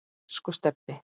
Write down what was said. Elsku Stebbi.